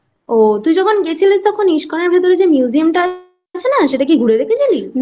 ও তুই যখন গেছিলিস তখন ISKCON এর ভিতর যে Museum টা আছে সেটা কি ঘুরে দেখেছিলি?